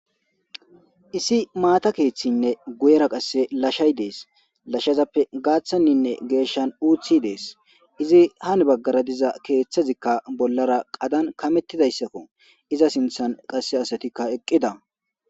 issi maata keeththinne guyera qasse lashay dees lashazappe gaaththanninne geeshshan uuthi dees izi han baggara diza keeththazikka bollara qadan kamettidayssakko iza sinthan qasse asatikka eqqida